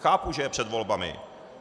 Chápu, že je před volbami.